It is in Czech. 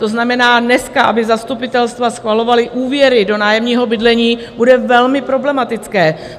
To znamená, dneska, aby zastupitelstva schvalovala úvěry do nájemního bydlení, bude velmi problematické.